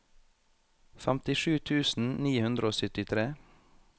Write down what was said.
femtisju tusen ni hundre og syttitre